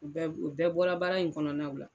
U bɛɛ u bɛɛ bɔra baara in kɔnɔna la